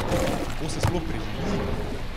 Kako se sploh preživi?